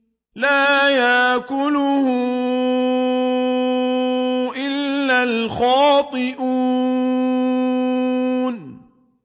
لَّا يَأْكُلُهُ إِلَّا الْخَاطِئُونَ